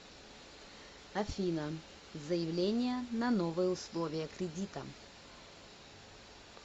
афина заявление на новые условия кредита